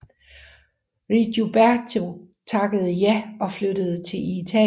Rigoberto takkede ja og flyttede til Italien